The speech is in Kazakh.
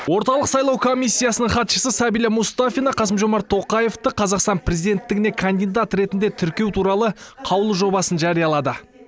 орталық сайлау комиссиясы хатшысы сәбила мұстафина қасым жомарт тоқаевты қазақстан президенттігіне кандидат ретінде тіркеу туралы қаулы жобасын жариялады